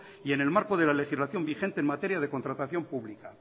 y en el marco de la legislación vigente en materia de contratación pública